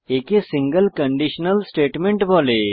একে single conditional statement বলা হয়